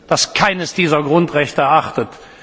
das keines dieses Grundrechte achtet.